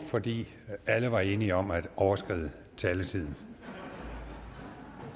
fordi alle var enige om at overskride taletiden